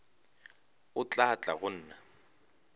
o tla tla go nna